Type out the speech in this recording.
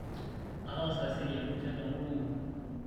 ataasa esiai oninche toonkologi kumok